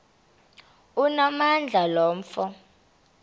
onamandla lo mfo